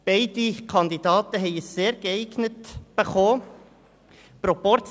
Beide Kandidaten haben ein «sehr geeignet» erhalten.